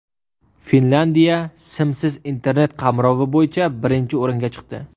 Finlyandiya simsiz Internet qamrovi bo‘yicha birinchi o‘ringa chiqdi.